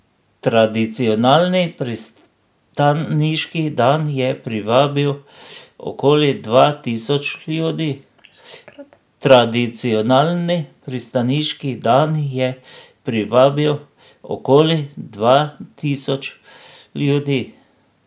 Tradicionalni pristaniški dan je privabil okoli dva tisoč ljudi.